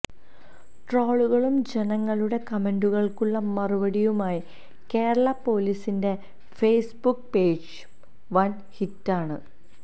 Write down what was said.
ട്രോളുകളും ജനങ്ങളുടെ കമന്റുകൾക്കുള്ള മറുപടിയുമായി കേരള പൊലീസിന്റെ ഫെയ്സ് ബുക്ക് പേജും വൻ ഹിറ്റാണ്